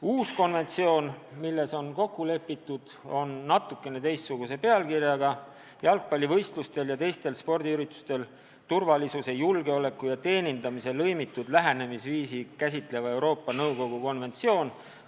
Uus konventsioon, milles on kokku lepitud, on natukene teistsuguse pealkirjaga: "Jalgpallivõistlustel ja teistel spordiüritustel turvalisuse, julgeoleku ja teenindamise lõimitud lähenemisviisi käsitlev Euroopa Nõukogu konventsioon".